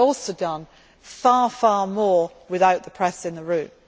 But I have also done far more without the press in the